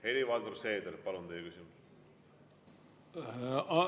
Helir-Valdor Seeder, palun, teie küsimus!